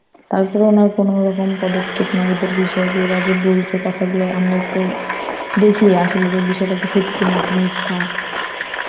তারপরেও নয় কোনরকম পদক্ষেপ নেয় এদের বিষয় যে এরা যে বলছে কথাগুলো, আমরা একটু দেখি আসলে যে বিষয়টাকি সত্যি নাকি মিথ্যা.